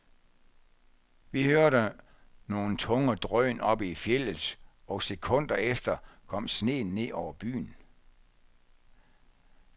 Vi hørte nogle tunge drøn oppe i fjeldet, og sekunder efter kom sneen ned over byen.